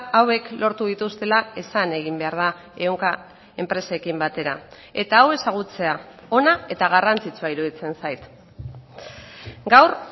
hauek lortu dituztela esan egin behar da ehunka enpresekin batera eta hau ezagutzea ona eta garrantzitsua iruditzen zait gaur